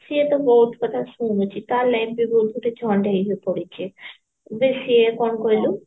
ସିଏ ତ ବହୁତ କଥା ଶୁଣୁଛି ତା life ବି ଏମିତିରେ झंड ହେଇକି ପଡିଛି ସେ ସିଏ କଣ କହିଲୁ